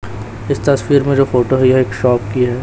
इस तस्वीर में जो फोटो है ये एक शॉप की है।